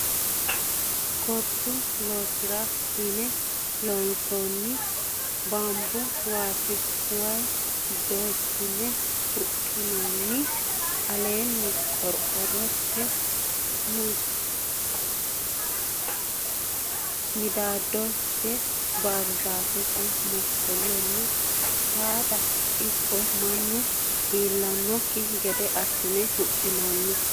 Gorsu loosira yine loonsoonniha baambu ŵaati. Waa doyissine huxxinoonni. Aleenni qorqorrotenni midaadosi baarzaafete mokkollonni saadano ikko mannu iillannokki gede assine huxxinoonni.